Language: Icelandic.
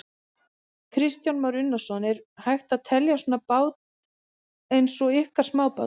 Kristján Már Unnarsson: Er hægt að telja svona bát eins og ykkar smábát?